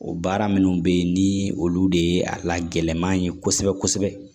O baara minnu bɛ yen ni olu de ye a lagɛlɛn kosɛbɛ kosɛbɛ